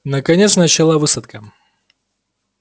наконец начала высадка